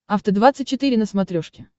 афта двадцать четыре на смотрешке